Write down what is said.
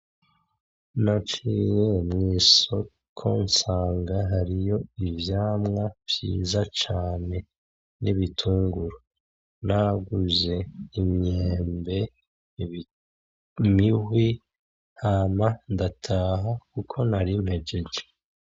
Naciye mw'isoko nsanga hariyo ivyamwa vyiza cane n'ibitunguru. Naguze imyembe, imihwi hama ndataha kuko nari mpejeje.